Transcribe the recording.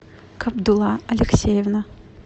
кабдулла алексеевна